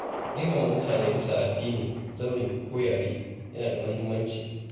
Girmama mutane bisa addini, launi ko yare yana da muhimmanci.